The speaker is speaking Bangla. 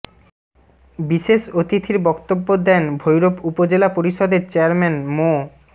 বিশেষ অতিথির বক্তব্য দেন ভৈরব উপজেলা পরিষদের চেয়ারম্যান মো